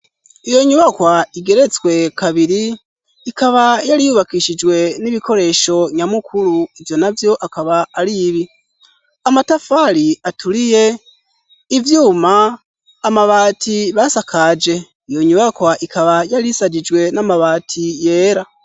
Iyo nyubakwa igeretswe kabiri, ikaba yari yubakishijwe n'ibikoresho nyamukuru. Ivyo navyo akaba ari ibi: amatafari aturiye, ivyuma, amabati basakaje. Iyo nyubakwa ikaba yari ishajijwe n'amabati yera.